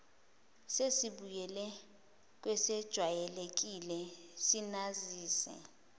sesibuyele kwesejwayelekile sinazise